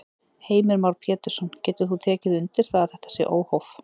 Heimir Már Pétursson: Getur þú tekið undir það að þetta sé óhóf?